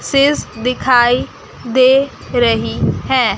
सीस दिखाई दे रही है।